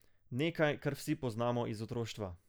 Nekaj, kar vsi poznamo iz otroštva.